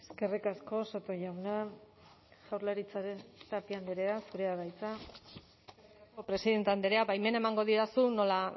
eskerrik asko soto jauna jaurlaritzaren tapia andrea zurea da hitza presidente andrea baimena emango didazu nola